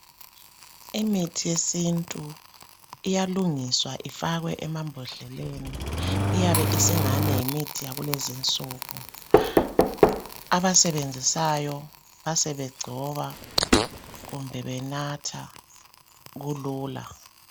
Imithi yesintu iyalungiswa ifakwe emambodleleni, iyabe isingani yimithi yakulezinsuku . Abasebenzisayo basebegcoba kumbe benatha , kulula.